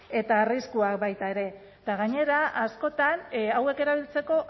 eta arriskuak baita ere eta gainera askotan hauek erabiltzeko